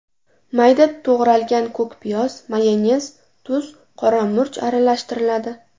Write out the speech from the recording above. Mayda to‘g‘ralgan ko‘k piyoz, mayonez, tuz, qora murch aralashtiriladi.